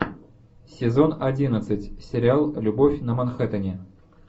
сезон одиннадцать сериал любовь на манхэттене